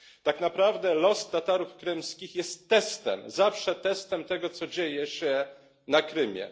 Tak naprawdę los Tatarów krymskich jest testem, zawsze testem tego, co dzieje się na Krymie.